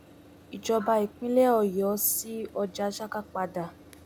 ìjọba ìpínlẹ ọyọ sí ọjà saka padà